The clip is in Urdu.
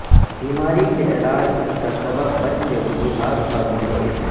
بیماری کے علاج اس کا سبب بن کہ وجوہات پر منحصر ہے